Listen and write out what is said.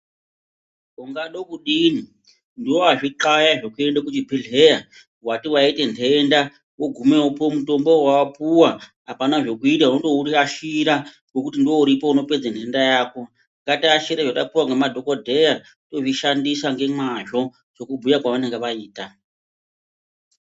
Ungade kudini ndiwe wazvi khlaya zvekuenda kuzvibhedhleya wati waita nhenda, wogumeyo wopuwa mutombo wawa puwa, apana zvekuita unondo urashira ngekuti ndiwo uripo unopedza nhenda yako ngatiashire zvatapuwa ngemadhokodhaya tozvishandisa ngemwazvo sekubhuya kwavanenge vaita.